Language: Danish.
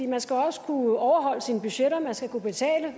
man skal også kunne overholde sine budgetter man skal kunne betale